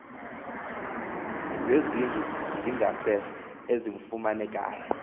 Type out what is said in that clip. zezindlu zangasese ezifumanekayo